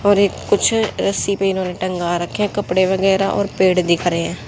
और एक कुछ रस्सी पे इन्हें ने टंगा रखें हैं कपड़े वगैरा और पेड़ दिख रहे हैं।